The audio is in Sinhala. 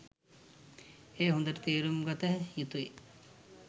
එය හොඳට තේරුම්ගත යුතුයි.